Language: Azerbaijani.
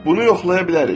Bunu yoxlaya bilərik.